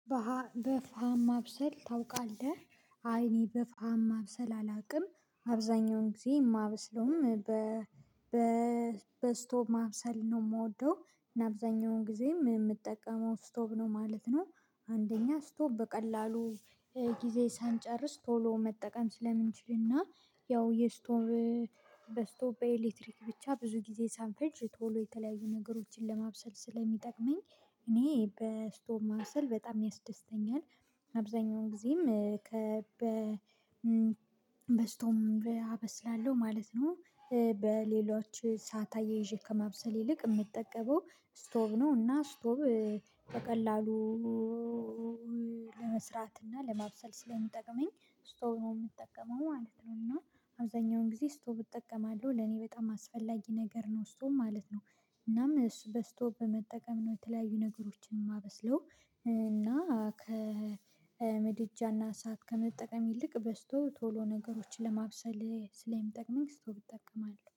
በፋም ማብሰል ታውቃለህ? አይኔ በፋም ማብሰል አላውቅም አብዛኛውን ጊዜ የማበስለውም በ በ በስቶቭ ማብሰል ነው የምወደው እና አብዛኛውን ጊዜ የምጠቀመው የምጠቀመው ስቶቭ ነው ማለት ነው። አንደኛ ስቶቭ በቀላሉ ጊዜ ሳንጨርስ ቶሎ መጠቀም ስለምንችል እና ያው የስቶቭ በስቶቭ በኤሌክትሪክ ብቻ ብዙ ጊዜ ሳንፈልጅ ቶሎ የተለያዩ ነገሮችን ለማብሰል ስለሚጠቅመኝ እኔ በስቶቭ ማብሰል በጣም ያስደስተኛል አብዛኛውን ጊዜም ከበስቶም አበስላለሁ ማለት ነው። በሌሎች ሰዓትአያይዤ ከማብሰል ይልቅ የምጠቀመው ስቶቭ ነው እና ስቶቭ በቀላሉ ለመስራት እና ለማብሰል ስለሚጠቅመኝ ስቶቭ ነው የምጠቀመው ማለት ነው። እና አብዛኛውን ጊዜ ስቶቭ እጠቀማለሁ ለኔ በጣም አስፈላጊ ነገር ነው ስቶቭ ማለት ነው። እናም እሱ በስቶቭ በመጠቀም ነው የተለያዩ ነገሮችን የማበስለው እና ከምድጃ እና እሳት ከመጠቀም ይልቅ በስቶቭ ቶሎ ነገሮችን ለማብሰል ስለሚጠቅመኝ ስቶቭ እጠቀማለሁ